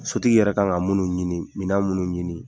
Sotigi yɛrɛ kan ka minnu ɲini mina minnu ɲini.